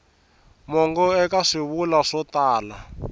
mongo eka swivulwa swo tala